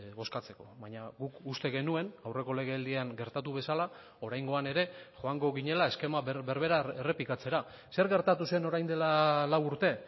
bozkatzeko baina guk uste genuen aurreko legealdian gertatu bezala oraingoan ere joango ginela eskema berbera errepikatzera zer gertatu zen orain dela lau urte